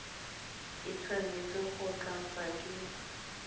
e tshwanetse go tlatswa ke